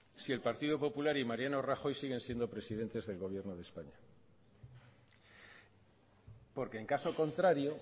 si el partido popular y mariano rajoy siguen siendo presidentes del gobierno de españa porque en caso contrario